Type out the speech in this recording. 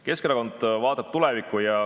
Keskerakond vaatab tulevikku.